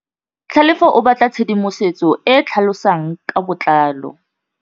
Tlhalefô o batla tshedimosetsô e e tlhalosang ka botlalô.